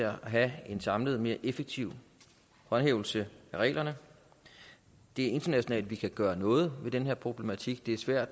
at have en samlet og mere effektiv håndhævelse af reglerne det er internationalt at der kan gøres noget ved den her problematik det er svært